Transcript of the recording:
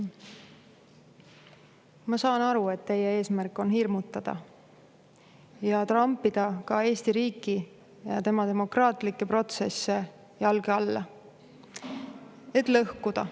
Ma saan aru, et teie eesmärk on hirmutada ja trampida ka Eesti riiki, tema demokraatlikke protsesse jalge alla, et lõhkuda.